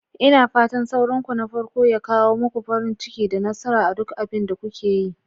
Ina fatan saurinku na farko ya kawo muku farin ciki da nasara a duk abin da kuke yi.